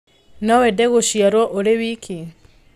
No wende gũciarũo ũrĩ wiki?